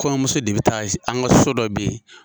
Kɔɲɔnmuso de be taa an ka so dɔ be yen.